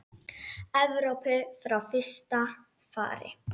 Evrópu frá fyrsta fari.